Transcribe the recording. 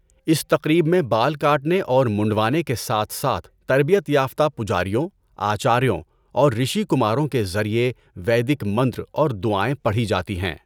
اس تقریب میں بال کاٹنے اور منڈوانے کے ساتھ ساتھ تربیت یافتہ پجاریوں، آچاریوں اور رشی کماروں کے ذریعہ ویدک منتر اور دعائیں پڑھی جاتی ہیں۔